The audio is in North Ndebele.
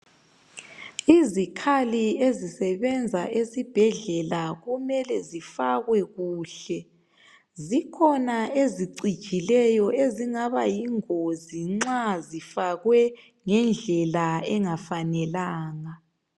Izikhali ezisebenza esibhedlela kumele zifakwe kuhle. Zikhona ezicijileyo eziyingozi uma zifakwe ngendlela engafanelanga.